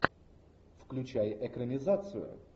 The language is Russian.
включай экранизацию